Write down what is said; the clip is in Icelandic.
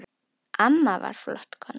Amma var flott kona.